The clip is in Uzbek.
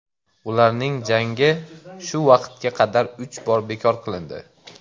Ularning jangi shu vaqtga qadar uch bor bekor qilindi.